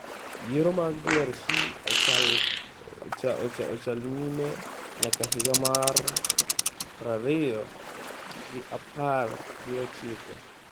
Yiero mag DRC ochal nyime nyaka higa mar prariyo gi apar gi ochiko.